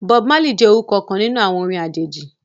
Bob Marley jẹ orukọ kan ninu awọn orin ajeji.